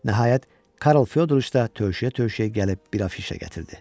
Nəhayət, Karl Fyodroviç də tövşüyə-tövşüyə gəlib bir afişa gətirdi.